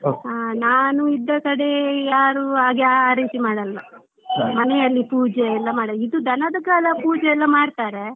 ಹ ನಾನು ಇದ್ದ ಕಡೆ ಯಾರು ಹಾಗೆ ಆ ರೀತಿ ಮಾಡಲ್ಲ ಮನೆಯಲ್ಲಿ ಪೂಜೆಯೆಲ್ಲ ಮಾಡಲ್ಲ ಇದು ದನದ ಪೂಜೆ ಎಲ್ಲ ಮಾಡ್ತಾರೆ.